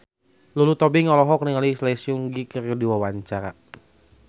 Lulu Tobing olohok ningali Lee Seung Gi keur diwawancara